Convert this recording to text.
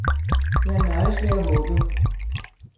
Jeg nøjes med at håbe.